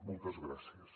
moltes gràcies